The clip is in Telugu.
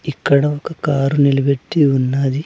ఇక్కడ ఒక కారు నిలబెట్టి ఉన్నది.